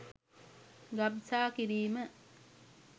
ගබ්සා කිරීම